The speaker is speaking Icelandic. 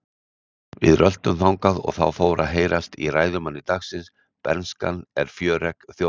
Við röltum þangað og þá fór að heyrast í ræðumanni dagsins: Bernskan er fjöregg þjóðarinnar.